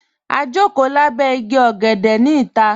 Ā jọkò làbẹ̀ ìgí ọ̀gẹ̀dẹ̀ ni ìtà.